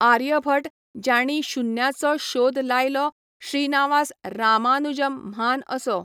आर्यभट ज्यांणी शुन्याचो शोद लायलो श्रिनावास रामानुजम म्हान असो